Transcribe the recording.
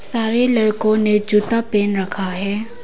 सारे लड़कों ने जूता पहन रखा है।